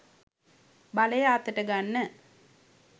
බලය අතට ගන්න.